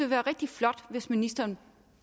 være rigtig flot hvis ministeren